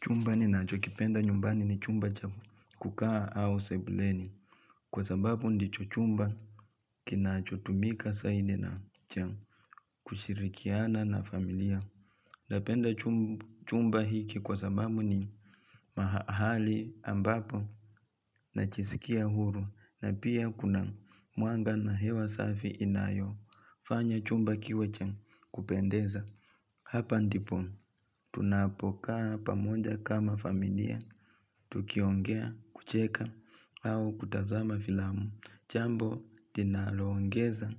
Chumba ninacho kipenda nyumbani ni chumba cha kukaa au sebuleni Kwa sababu ndicho chumba Kinacho tumika saidi na cha kushirikiana na familia Napenda chumba hiki kwa sababu ni mahali ambapo najisikia huru na pia kuna mwanga na hewa safi inayofanya chumba kiwa cha kupendeza Hapa ndipo tunapokaa pamoja kama familia Tukiongea kucheka au kutazama filamu jambo linalongeza